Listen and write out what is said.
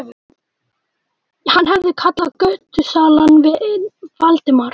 Hann hafði kallað götusalann vin Valdimars.